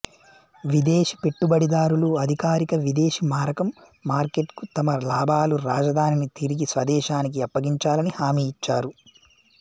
విదేశీ పెట్టుబడిదారులు అధికారిక విదేశీ మారకం మార్కెట్కు తమ లాభాలు రాజధానిని తిరిగి స్వదేశానికి అప్పగించాలని హామీ ఇచ్చారు